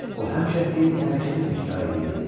O həmişə eyni hərəkəti təkrar eləyirdi.